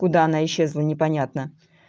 куда она исчезла непонятно